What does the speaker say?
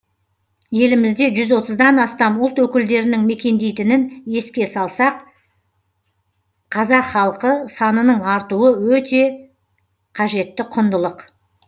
елімізде жүз отыздан астам ұлт өкілдерінің мекендейтінін еске салсақ қазақ халқы санының артуы өте қажетті құндылық